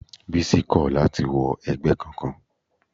Bísí kò láti wọ ẹgbẹ́ kankan.